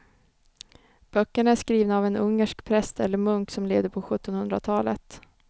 Böckerna är skrivna av en ungersk präst eller munk som levde på sjuttonhundratalet.